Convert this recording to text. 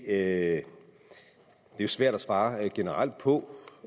at det er svært at svare generelt på